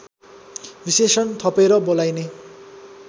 विशेषण थपेर बोलाइने